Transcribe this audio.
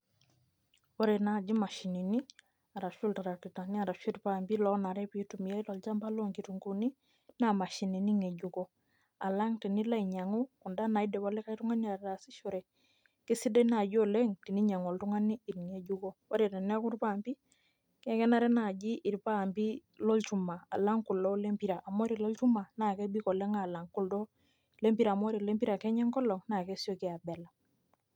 Ore naji mashinini, arashu iltarakitani arashu impaampi lonare pitumiai tolchamba lonkitunkuuni, naa mashinini ng'ejuko. Alang' tenilo ainyang'u kunda naidipa likae tung'ani ataasishore, kesidai naji oleng, teninyang'u oltung'ani ing'ejuko. Ore teneeku irpaampi, kenare naaji irpaampi lolchuma, alang' kulo lempira. Amu ore lolchuma, na kebik oleng alang' kuldo lempira amu ore lempira kenya enkolong',na kesioki abela.